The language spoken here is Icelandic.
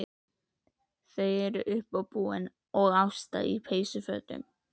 Þau eru uppábúin og Ásta í peysufötum.